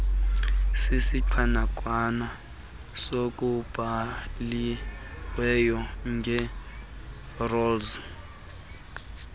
sisiqanaqwana sokubhaliweyo ngeprozi